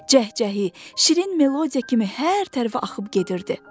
Cəhcəhi, şirin melodiya kimi hər tərəfə axıb gedirdi.